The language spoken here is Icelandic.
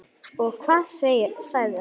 Og hvað sagði hann?